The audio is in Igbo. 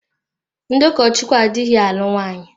Ndị ụkọchukwu adịghị alụ nwaanyị.